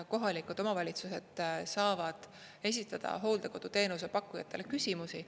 Kohalikud omavalitsused saavad esitada hooldekoduteenuse pakkujatele küsimusi.